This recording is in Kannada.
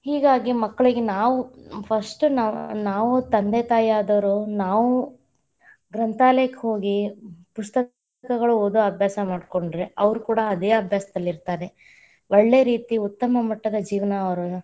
ಹೀಗಾಗಿ ಮಕ್ಕಳಿಗೆ ನಾವ್ first ನಾವ್‌~ ನಾವ್‌ ತಂದೆ ತಾಯಿಯಾದವ್ರು ನಾವು ಗ್ರಂಥಾಲಯಕ್ಕ ಹೋಗಿ, ಪುಸ್ತಕಗಳ ಓದೊ ಅಭ್ಯಾಸ ಮಾಡಕೊಂಡ್ರೆ, ಅವ್ರು ಕೂಡ ಅದೇ ಅಭ್ಯಾಸದಲ್ಲಿತಾ೯ರೆ, ಒಳ್ಳೆ ರೀತಿ ಉತ್ತಮ ಮಟ್ಟದ ಜೀವನ ಅವ್ರ.